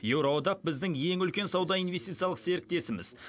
еуроодақ біздің ең үлкен сауда инвестициялық серіктесіміз